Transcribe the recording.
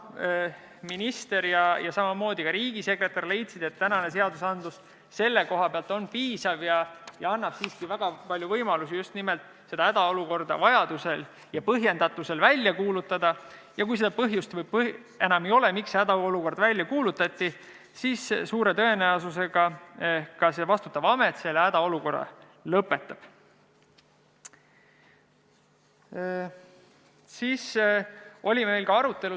Minister ja samamoodi ka riigisekretär leidsid, et tänased seadused on selle koha pealt piisavad ja annavad siiski väga palju võimalusi just nimelt hädaolukorda vajaduse ja põhjendatuse korral välja kuulutada ning kui seda põhjust enam ei ole, miks see hädaolukord välja kuulutati, siis suure tõenäosusega see vastutav amet selle hädaolukorra lõpetab.